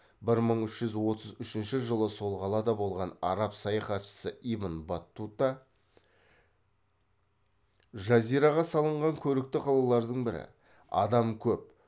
бір мың үш жүз отыз үшінші жылы сол қалада болған араб саяхатшысы ибн баттута жазираға салынған көрікті қалалардың бірі адам көп